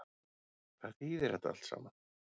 Hvað þýðir þetta allt saman